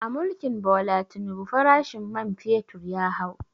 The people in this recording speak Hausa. A mulkin Bola Tinubu farashin men fetur ya hau